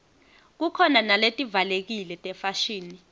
khukhona naletivalekile tefashini